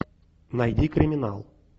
найди криминал